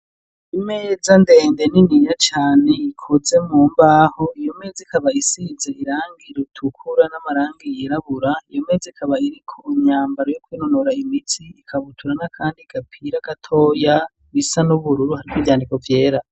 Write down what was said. Imeza ndende nini ya cane ikoze mu mbaho iyo meze kabayisize irangir utukura n'amarangiyerabura iyo meze kabayiriko imyambaro y'koinunora imitsi ikabuturana, kandi gapira gatoya bisa nubururu hariwo ivyandiko vyera.